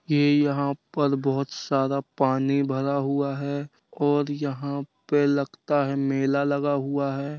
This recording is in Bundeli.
ये यहाँ पर बहोत सारा पानी भरा हुआ है और यहाँ पे लगता है मेला लगा हुआ है।